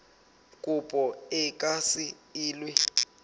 kopo e ka se elwe